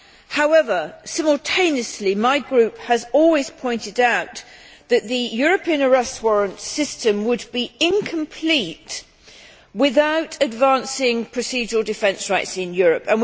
However, simultaneously, my group has always pointed out that the European Arrest Warrant system would be incomplete without advancing procedural defence rights in Europe.